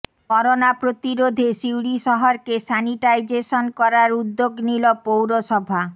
corona প্রতিরোধে সিউড়ি শহরকে sanitisation করার উদ্যোগ নিল পৌরসভা